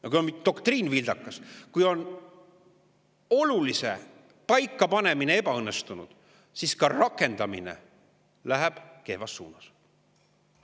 Ja kui on doktriin vildakas, kui on olulise paikapanemine ebaõnnestunud, siis ka rakendamine läheb kehvas suunas.